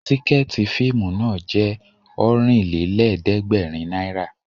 Tìkẹ̀ẹ̀tí fíìmù náà jẹ́ Ọ̀rìnlélẹ̀ẹ̀dẹ́gbèrin náírà